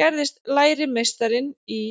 gerðist lærimeistarinn í